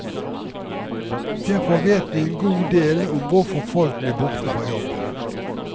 Derfor vet vi en god del om hvorfor folk blir borte fra jobben.